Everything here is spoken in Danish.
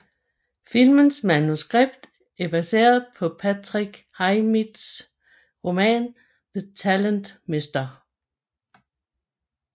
Filmens manuskript er baseret på Patricia Highsmiths roman The Talented Mr